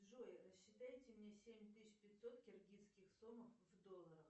джой рассчитайте мне семь тысяч пятьсот киргизских сомов в долларах